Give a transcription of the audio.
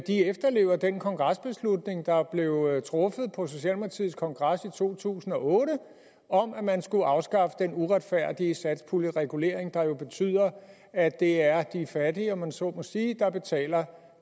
efterlever den kongresbeslutning der blev truffet på socialdemokratiets kongres i to tusind og otte om at man skulle afskaffe den uretfærdige satspuljeregulering der jo betyder at det er de fattige om man så må sige der betaler